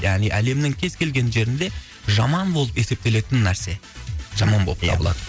яғни әлемнің кез келген жерінде жаман болып есептелетін нәрсе жаман болып ия табылады